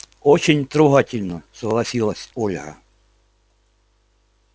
очень трогательно согласилась ольга